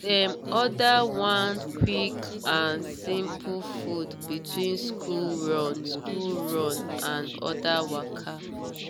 dem order one quick and simple food between school run school run and other waka.